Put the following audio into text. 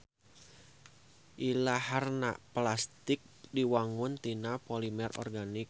Ilaharna plastik diwangun tina polimer organik.